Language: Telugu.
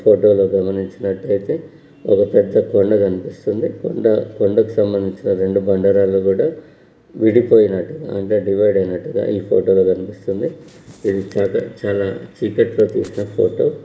ఫోటో లో గమనించినట్టైతే ఒక పెద్ద కొండ కనిపిస్తుంది. కొండ కొండకు సంబంధంచిన రెండు బండ రాళ్లు కూడా విడిపోయినట్టు అంటే డివైడ్ అయినట్టుగా ఈ ఫోటో లో కనిపిస్తుంది. ఇది చాలా చీకటిలో తీసిన ఫోటో .